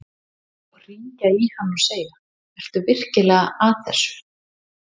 Og hringja í hann og segja: Ertu virkilega að þessu?